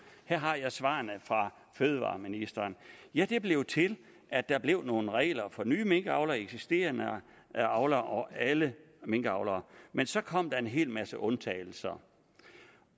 her har jeg svarene fra fødevareministeren ja det blev til at der blev nogle regler for nye minkavlere og eksisterende avlere alle minkavlere men så kom der en hel masse undtagelser